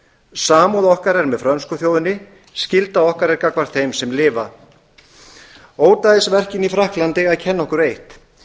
samúð okkar er með frönsku þjóðinni skylda okkar er gagnvart þeim sem lifa ódæðisverkin í frakklandi eiga að kenna okkur eitt